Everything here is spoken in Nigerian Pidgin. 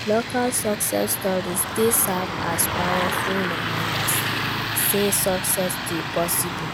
Local success stories dey serve as powerful reminders say success dey possible.